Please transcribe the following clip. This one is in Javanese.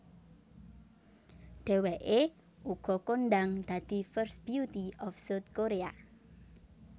Dheweké uga kondhang dadi first beauty of South Korea